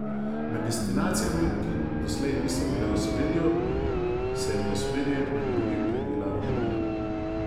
Med destinacijami, ki doslej niso bile v ospredju, se je v ospredje med drugim prebila Romunija.